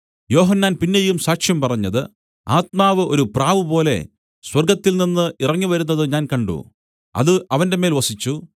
യോഹന്നാൻ പിന്നെയും സാക്ഷ്യം പറഞ്ഞത് ആത്മാവ് ഒരു പ്രാവുപോലെ സ്വർഗ്ഗത്തിൽനിന്ന് ഇറങ്ങി വരുന്നത് ഞാൻ കണ്ട് അത് അവന്റെമേൽ വസിച്ചു